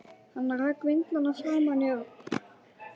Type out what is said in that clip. Hann rak vindlana framan í Örn.